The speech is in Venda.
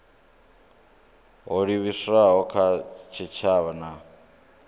ho livhiswaho kha tshitshavha na